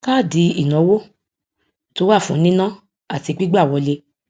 káàdì ìnáwó tó wà fún níná àti gbígbà wọlé